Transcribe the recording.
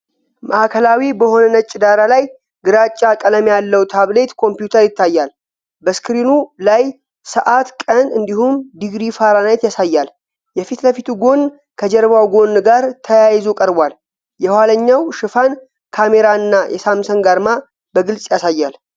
ማዕከላዊ በሆነ ነጭ ዳራ ላይ ግራጫ ቀለም ያለው ታብሌት ኮምፒውተር ይታያል። በስክሪኑ ላይ ሰዓት፣ ቀን፣ እንዲሁም ዲግሪ ፋራናይት ያሳያል። የፊት ለፊቱ ጎን ከጀርባው ጎን ጋር ተያይዞ ቀርቧል፣ የኋለኛው ሽፋን ካሜራ እና የሳምሰንግ አርማ በግልጽ ያሳያል።